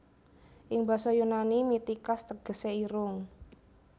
Ing basa Yunani Mitikas tegesé irung